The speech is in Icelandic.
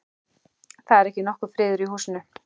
Það er ekki nokkur friður í húsinu.